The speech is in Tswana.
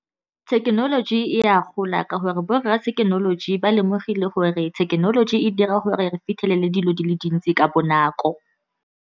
Thekenoloji e a gola, ka gore borra thekenoloji ba lemogile gore thekenoloji e dira gore re fitlhelele dilo di le dintsi ka bonako.